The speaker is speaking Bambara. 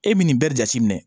E bɛ nin bɛɛ jate minɛ